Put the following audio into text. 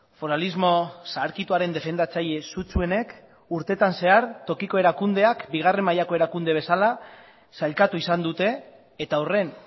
foralismo zaharkituaren defendatzaile sutsuenek urtetan zehar tokiko erakundeak bigarren mailako erakunde bezala sailkatu izan dute eta horren